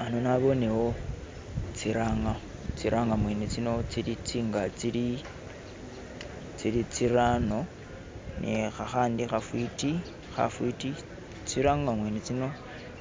Hano naboonewo tsi ranga tsiranga mwene tsino tsili tsingaali tsili tsirano ni khakhandi khafiti khafiti tsi ranga mwene tsino